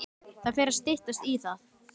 Það fer að styttast í það.